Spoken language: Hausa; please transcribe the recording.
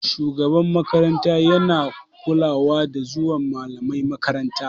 Shugaban makaranta yana kulawa da zuwan malamai makaranta.